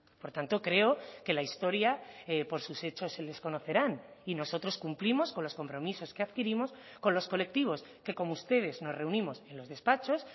por tanto creo que la historia por sus hechos se les conocerán y nosotros cumplimos con los compromisos que adquirimos con los colectivos que como ustedes nos reunimos en los despachos